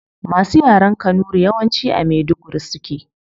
Masu yaren kanuri yawanci a maiduguri suke